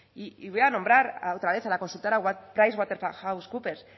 y voy a nombrar a otra vez a la consultora price waterhouse cooper